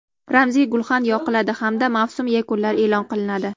Ramziy gulxan yoqiladi hamda mavsum yakunlari e’lon qilinadi.